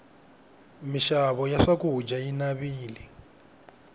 mixavo ya swakudya yi navile